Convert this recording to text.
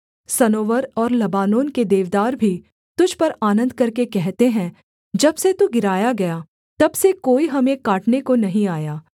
सनोवर और लबानोन के देवदार भी तुझ पर आनन्द करके कहते हैं जब से तू गिराया गया तब से कोई हमें काटने को नहीं आया